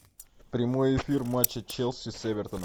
прямой эфир матча челси с эвертоном